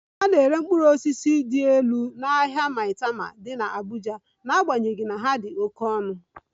A na-ere mkpụrụ osisi dị elu n'ahịa Maitama dị n'Abuja n'agbanyeghị na ha dị oke ọnụ